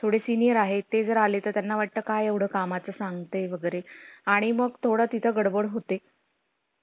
तो म्हणील तसं काय समजून घ्या कापड वगैरे किती हे प्रत्येक size चे पाच पाच shirt pant दिले ना दुकान पाहिल्यादिवशी भरून दिसलं की कसं बरं वाटन ना